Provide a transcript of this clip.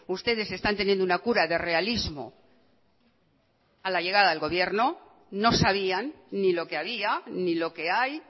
ustedes están teniendo una cura de realismo a la llegada al gobierno no sabían ni lo que había ni lo que hay